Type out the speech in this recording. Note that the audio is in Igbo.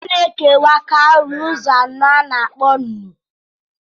A na-ekewa kaụrị ụzọ anọ a na-akpọ nnụ